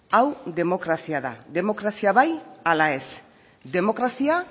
hau demokrazia da demokrazia bai ala ez demokrazia